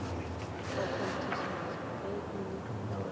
go kgonthišiša ge e le